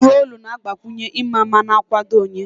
Ihe olu na-agbakwunye ịma mma na nkwado onye